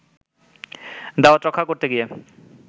দাওয়াত রক্ষা করতে গিয়ে